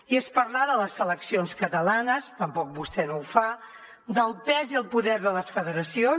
i és parlar de les seleccions catalanes tampoc vostè no ho fa del pes i el poder de les federacions